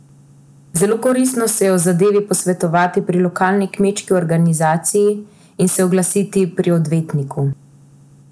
Zelo koristno se je o zadevi posvetovati pri lokalni kmečki organizaciji in se oglasiti pri odvetniku.